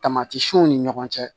Tamatiw ni ɲɔgɔn cɛ